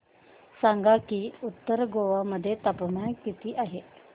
सांगा की उत्तर गोवा मध्ये तापमान किती आहे